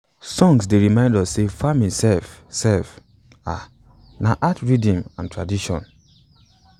songs dey remind us say farming sef sef um na art rhythm and tradition um